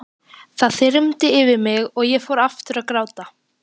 Það þyrmdi yfir mig og ég fór aftur að gráta.